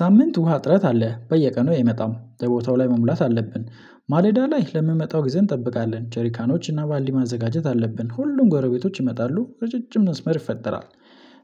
ሳምንት ውሃ ጥረት አለ። በየቀኑ አይመጣም፣ በቦታው ላይ መሙላት አለብን፣ ማለዳ ላይ ለሚመጣው ጊዜ እንጠብቃለን። ጀሪካኖች እና ባልዲ ማዘጋጀት አለብን። ሁሉም ጎረቤቶች ይመጣሉ ረጃጅም መስመር ይፈጠራል።